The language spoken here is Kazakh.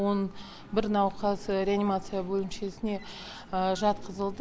он бір науқас реанимация бөлімшесіне жатқызылды